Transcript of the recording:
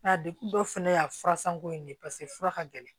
Nka dekun dɔ fana y'a fura sanko in ne ye fura ka gɛlɛn